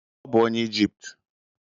Ọ bụ onye Ijipt.